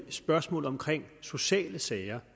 spørgsmålet om sociale sager